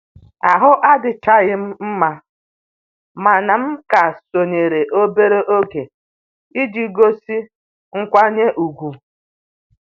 Ahụ adịchaghị m mma mana m ka sonyeere obere oge iji gosi nkwanye ùgwù